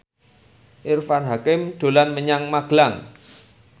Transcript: Irfan Hakim dolan menyang Magelang